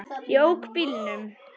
Ég ók bílnum.